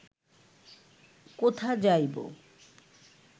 কোথা যাইব